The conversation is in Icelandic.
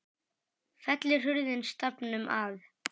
Fellur hurðin stafnum að.